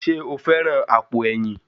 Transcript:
Ṣé o fẹ́ran àpò ẹ̀yìn?